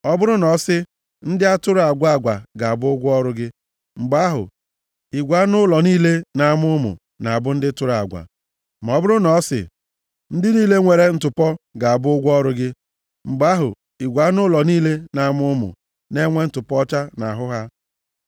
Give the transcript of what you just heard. Ọ bụrụ na ọ sị, ‘Ndị tụrụ agwa agwa ga-abụ ụgwọ ọrụ gị,’ mgbe ahụ, igwe anụ ụlọ niile na-amụ ụmụ na-abụ ndị tụrụ agwa. Ma ọ bụrụ na ọ sị, ‘Ndị niile nwere ntụpọ ga-abụ ụgwọ ọrụ gị,’ mgbe ahụ, igwe anụ ụlọ niile na-amụ ụmụ na-enwe ntụpọ ọcha nʼahụ ha.